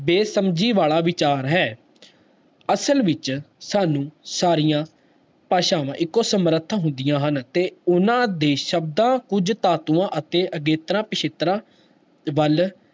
ਬੇਸਮਝੀ ਵਾਲਾ ਵਿਚਾਰ ਹੈ ਅਸਲ ਵਿੱਚ ਸਾਨੂੰ ਸਾਰੀਆਂ ਭਾਸ਼ਾਵਾਂ ਇੱਕੋ ਸਮਰਥ ਹੁੰਦੀਆਂ ਹਨ, ਤੇ ਉਹਨਾਂ ਦੇ ਸ਼ਬਦਾਂ ਕੁੱਝ ਧਾਤੂਆਂ ਅਤੇੇ ਅਗੇਤਰਾਂ, ਪਿੱਛੇਤਰਾਂ ਵੱਲ